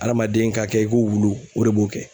Adamaden ka kɛ i ko wulu o de b'o kɛ